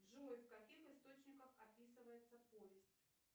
джой в каких источниках описывается повесть